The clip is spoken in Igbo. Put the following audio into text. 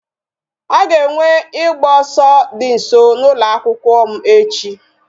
A ga-enwe ịgba ọsọ dị nso n'ụlọ akwụkwọ m echi